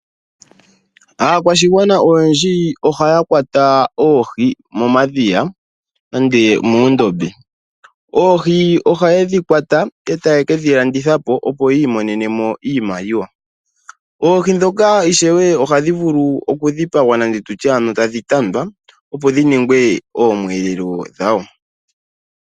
Aakwashigwana oyendji ohaya kwata oohi momadhiya nande moondombe. Oohi ohayedhi kwata etaye kedhi landitha po, opo yi imonene iimaliwa. Oohi dhoka ohadhi vulu oku dhipagwa nenge tutye tadhi tandwa opo dhi ninge oomwelelo dhawo.